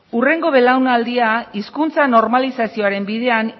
hurrengo belaunaldia hizkuntza normalizazioaren bidean